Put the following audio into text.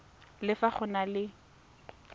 le fa go na le